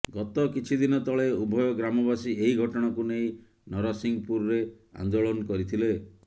ଗତ କିଛିଦିନ ତଳେ ଉଭୟ ଗ୍ରାମବାସୀ ଏହି ଘଟଣାକୁ ନେଇ ନରସିଂପୁରରେ ଆନ୍ଦୋଳନ କରିଥିଲେ